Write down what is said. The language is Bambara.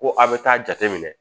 Ko a bɛ taa jateminɛ